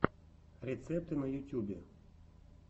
рецепты на ютюбе